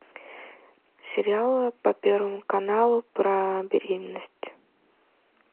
сериалы по первому каналу про беременность